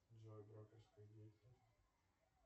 джой брокерская деятельность